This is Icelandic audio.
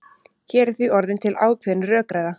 Hér er því orðin til ákveðin rökræða.